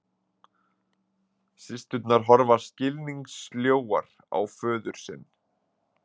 Systurnar horfa skilningssljóar á föður sinn